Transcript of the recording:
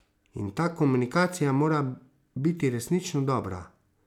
In ta komunikacija mora biti resnično dobra.